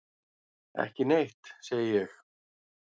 Ekki neitt, segi ég.